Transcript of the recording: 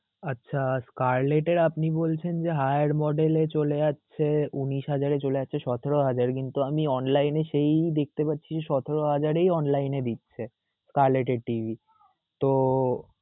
আচ্ছা, collect এ আপনি বলছেন যে, hriyer model এ চলে যাচ্ছে, উনিশ হাজারে চলে যাচ্ছে, সতেরো হাজার, কিন্তু আমি online এ সেই দিক তে পাচ্ছি, সতেরো হাজার এই online এই দিচ্ছে collect TV